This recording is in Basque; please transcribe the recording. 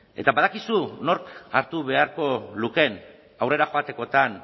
eta badakizu nork hartu beharko lukeen aurrera joatekotan